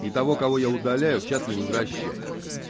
и того кого я удаляю в чат не возвращай